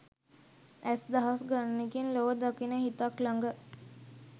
ඇස් දහස් ගණනකින් ලොව දකින හිතක් ළඟ